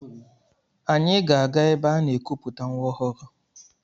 Anyị ga-aga ebe aga-ekuputa nwa ọhụrụ.